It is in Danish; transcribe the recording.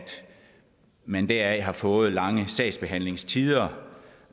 man deraf har fået lange sagsbehandlingstider